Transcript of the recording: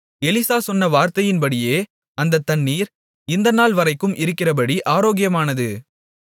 Elisha சொன்ன வார்த்தையின்படியே அந்தத் தண்ணீர் இந்தநாள் வரைக்கும் இருக்கிறபடி ஆரோக்கியமானது